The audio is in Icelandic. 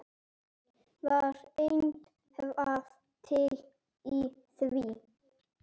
Var eitthvað til í því?